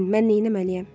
Deyin, mən neyləməliyəm?